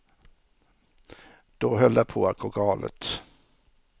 Då höll det på att gå galet.